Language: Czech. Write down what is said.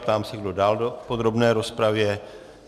Ptám se, kdo dál do podrobné rozpravy.